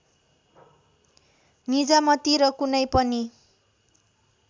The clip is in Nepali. निजामती र कुनै पनि